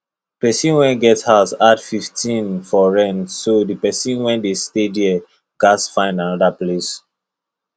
person when get house add fifteen for rent so the person wey dey stay there gats find another place